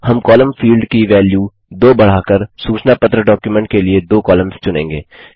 हम column field की value 2 बढ़ाकर सूचना पत्र डॉक्युमेंट के लिए दो कॉलम्स चुनेंगे